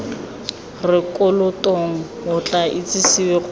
rekotong o tla itsisiwe gore